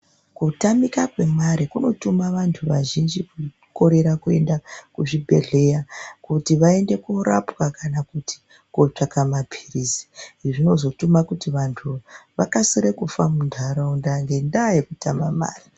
Kutamika kwemare kunotuma vantu vazhinji kukorera kuenda kuzvibhendleya kuti vaende koorapwa kana kuti kootsvaka mapirizi. Zvinozotuma kuti vantu vakasire kufa munharaunda ngendaa yekutama mare.